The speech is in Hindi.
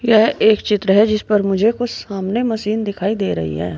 यह एक चित्र है जिस पर मुझे कुछ सामने मशीन दिखाई दे रही है।